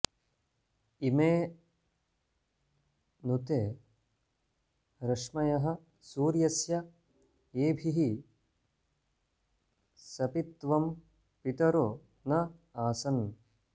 इमे नु ते रश्मयः सूर्यस्य येभिः सपित्वं पितरो न आसन्